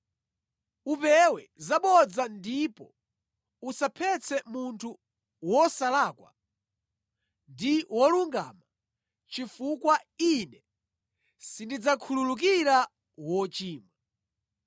Upewe zabodza ndipo usaphetse munthu wosalakwa ndi wolungama, chifukwa Ine sindidzakhululukira wochimwa.